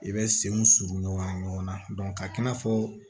I bɛ senw suru ɲɔgɔn na ɲɔgɔnna ka k'i n'a fɔ